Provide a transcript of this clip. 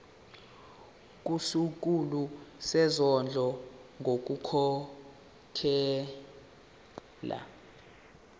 kusikhulu sezondlo ngokukhokhela